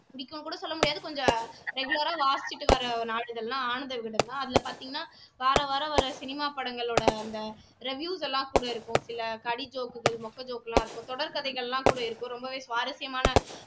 பிடிக்கும் கூட சொல்ல முடியாது கொஞ்சம் regular ஆ வாசிச்சுட்டு வர்ற வருகிற நாளிதழ்னா ஆனந்த விகடன் தான் அதுல பார்த்தீங்கன்னா வாராவாரம் ஒரு சினிமா படங்களோட அந்த reviews எல்லாம் கூட இருக்கும் சில கடி ஜோக்குகள் மொக்க ஜோக்கெல்லாம் இருக்கும் தொடர் கதைகள் கூட எல்லாம் இருக்கும் ரொம்பவே சுவாரசியமான